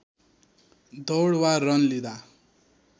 दौड वा रन लिँदा